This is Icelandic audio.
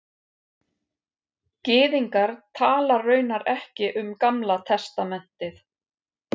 Gyðingar tala raunar ekki um Gamla testamentið